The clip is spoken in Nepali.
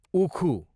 उखु